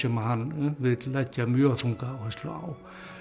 hann vill leggja mjög þunga áherslu á